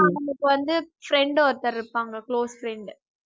அவங்களுக்கு வந்து friend ஒருத்தர் இருப்பாங்க close friend